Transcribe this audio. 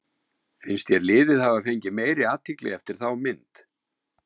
Finnst þér liðið hafa fengið meiri athygli eftir þá mynd?